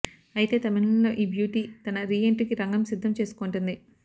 అయితే తమిళంలో ఈ బ్యూటీ తన రీఎంట్రీకి రంగం సిద్ధం చేసుకుంటోంది